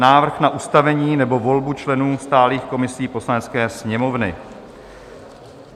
Návrh na ustavení nebo volbu členů stálých komisí Poslanecké sněmovny